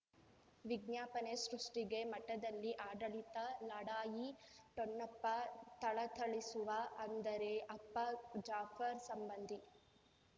ವಿಜ್ಞಾಪನೆ ಸೃಷ್ಟಿಗೆ ಮಠದಲ್ಲಿ ಆಡಳಿತ ಲಢಾಯಿ ಠೊಣಪ ಥಳಥಳಿಸುವ ಅಂದರೆ ಅಪ್ಪ ಜಾಫರ್ ಸಂಬಂಧಿ